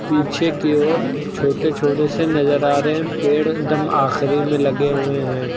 पीछे की ओर छोटे छोटे से नजर आ रहे हैं पेड़ एक दम आखिरी में लगे हुए हैं।